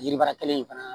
Yiri baara kelen in fana